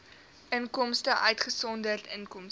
inkomste uitgesonderd inkomste